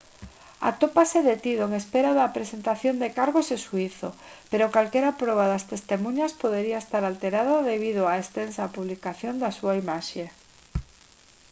atópase detido en espera da presentación de cargos e xuízo pero calquera proba das testemuñas podería estar alterada debido á extensa publicación da súa imaxe